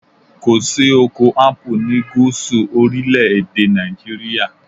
Kò sí oko Ápù ni gúúsù orílẹ̀ èdè Nàìjíríà.